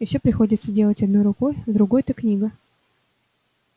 и все приходится делать одной рукой в другой-то книга